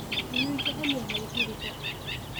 Miyuu jecel yahay guriga?